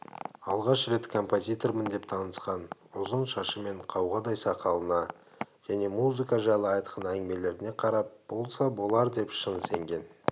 алғаш рет композитормын деп танысқан ұзын шашы мен қауғадай сақалына және музыка жайлы айтқан әңгімелеріне қарап болса болар деп шын сенген